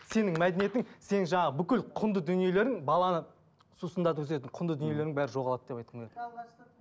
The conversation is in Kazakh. сенің мәдениетің сенің жаңағы бүкіл құнды дүниелерің баланы сусындатып өсетін құнды дүниелердің бәрі жоғалады деп айтқым келеді